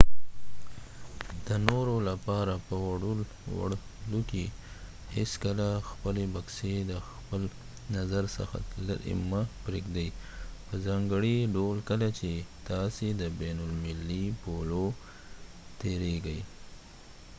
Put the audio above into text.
د نورو لپاره په وړلو کې هیڅکله خپلې بکسې د خپل نظر څخه لیرې مه پریږدۍ په ځانګړي ډول کله چې تاسې د بین المللي پولو تیریږئ